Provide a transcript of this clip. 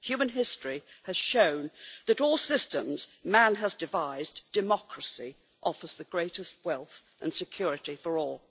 Human history has shown that, of all systems man has devised, democracy offers the greatest wealth and security for all.